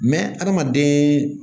adamaden